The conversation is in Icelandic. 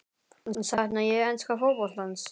Sakna ég enska fótboltans?